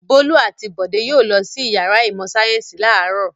Bólú àti Bọ̀dé yóò lọ sí ìyàrá ìmọ̀-sáyẹ́ńsì láàárọ̀.